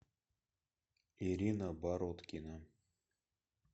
ирина бородкина